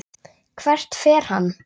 Hvert fer hann?